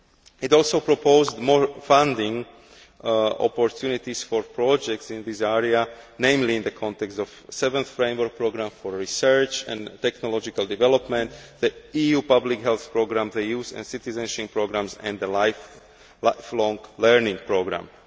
It also proposed more funding opportunities for projects in this area, namely in the context of the Seventh Framework Programme for Research and Technological Development, the EU Public Health Programme, the Youth and Citizenship programmes and the Lifelong Learning Programme.